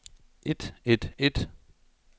et et et